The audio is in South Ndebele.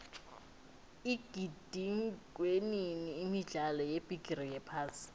igidingwenini imidlalo yebigiri yephasi